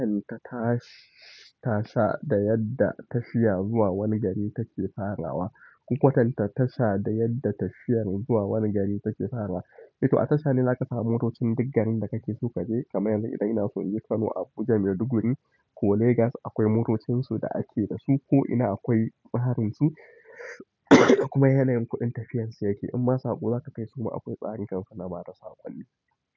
In ka tashi ta sa da yadda tafiya zuwa wani gari take farawa. Kukwatan tasha da yadda tafiyar zuwa wani gari take farawa. Eh to a tasha ne za ka samu motocin duk garin da kake so ka je. Kaman yanzu idan ina so in yi Kano, Abuja, Maiduguri ko Legas akwai motocin su da ake da su ko ina akwai ɓarinsu kuma yanayin kuɗin tafiyar su yake. Inma saƙo za kai su ma akwai tsarin kam suna ba da sakkonni.